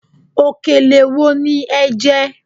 Òkèlè wo ni ẹ jẹ́?